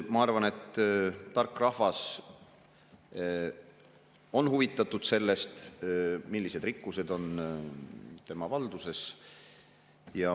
Ma arvan, et tark rahvas on huvitatud sellest, millised rikkused on tema valduses.